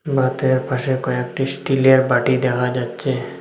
ভাতের পাশে কয়েকটি স্টিলের বাটি দেখা যাচ্ছে।